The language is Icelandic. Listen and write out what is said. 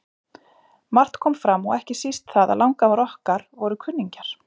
Margt kom fram og ekki síst það að langafar okkar voru kunningjar.